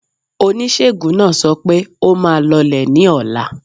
Oníṣègùn náà sọ pẹ́, ó máa lọlé ní ọ̀la.